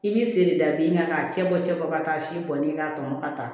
I bɛ se da bin kan k'a cɛ bɔ cɛ fɔ ka taa si bɔ ni ka tɔ ka taa